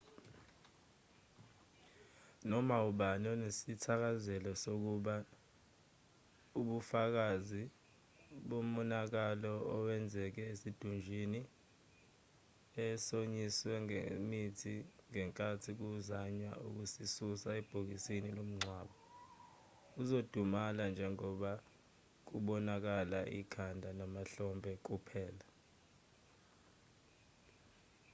noma ubani onesithakazelo sokubona ubufakazi bomonakalo owenzeke esidumbwini esomiswe ngemithi ngenkathi kuzanywa ukusisusa ebhokisini lomngcwabo uzodumala njengoba kubonakala ikhanda namahlombe kuphela